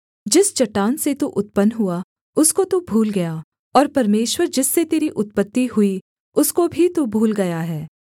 जिस चट्टान से तू उत्पन्न हुआ उसको तू भूल गया और परमेश्वर जिससे तेरी उत्पत्ति हुई उसको भी तू भूल गया है